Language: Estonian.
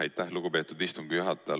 Aitäh, lugupeetud istungi juhataja!